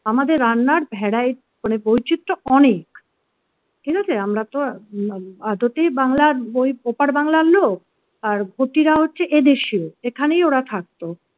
আমাদের রান্নার variety মানে বৈচিত্র অনেক ঠিক আছে আমরা তো আদতে বাংলার বই ওপার বাংলার লোক আর ঘটিরা হচ্ছে এদেশীয় এখানেই ওরা থাকতো